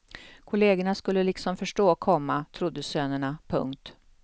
Kollegerna skulle liksom förstå, komma trodde sönerna. punkt